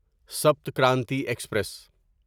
Sapt Kranti express